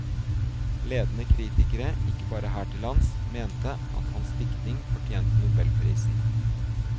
Ledende kritikere, ikke bare her til lands, mente at hans diktning fortjente nobelprisen.